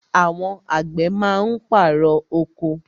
Àwọn àgbẹ̀ má ń pàrọ̀ oko.